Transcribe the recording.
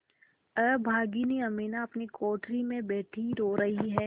अभागिनी अमीना अपनी कोठरी में बैठी रो रही है